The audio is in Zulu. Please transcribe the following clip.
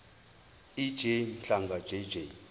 ej mhlanga jj